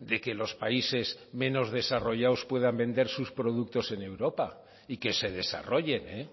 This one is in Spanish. de que los países menos desarrollados puedan vender sus productos en europa y que se desarrollen